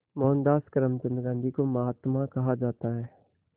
मोहनदास करमचंद गांधी को महात्मा कहा जाता है